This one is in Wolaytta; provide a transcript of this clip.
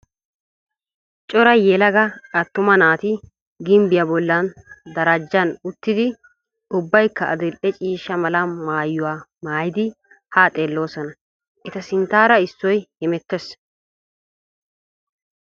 Cora yelaga attuma naati gimbbiya bollan darajjan uttidi ubbayikka adil'e ciishsha mala maayuwa mayidi haa xeelloosona. Eta sinttaara issoy hamettes.